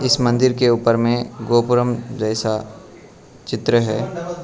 इस मंदिर के ऊपर में गोपुरम जैसा चित्र है।